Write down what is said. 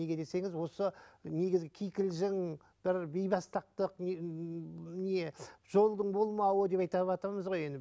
неге десеңіз осы негізгі кикілжің бір бейбастақтық не ммм не жолдың болмауы деп айтаватамыз ғой енді